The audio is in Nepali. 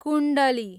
कुण्डली